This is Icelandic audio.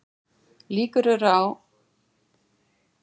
Líkur eru til að Guðmundur hafi ort vísuna Nú er hlátur nývakinn